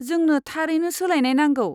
जोंनो थारैनो सोलायनाय नांगौ।